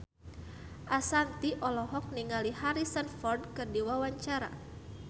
Ashanti olohok ningali Harrison Ford keur diwawancara